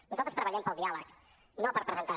nosaltres treballem pel diàleg no per presentar